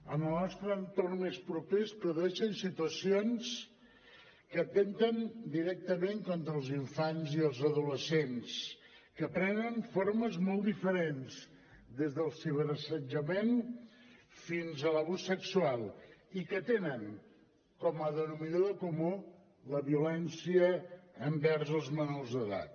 en el nostre entorn més proper es produeixen situacions que atempten directament contra els infants i els adolescents que prenen formes molt diferents des dels ciberassetjament fins a l’abús sexual i que tenen com a denominador comú la violència envers els menors d’edat